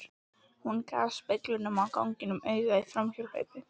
Hún gaf speglinum á ganginum auga í framhjáhlaupi.